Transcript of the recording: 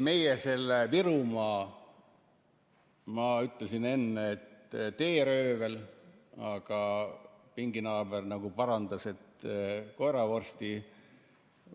Meie selle Virumaa teeröövliga, nagu ma ütlesin, aga pinginaaber parandas, et see oli koeravorsti